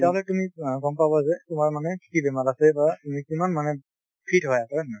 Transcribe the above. মানে তুমি গম পাবা যে তোমাৰ মানে কি বেমাৰ আছে বা তুমি কিমান মানে fit হয় আকৌ, হয় নে নহয়।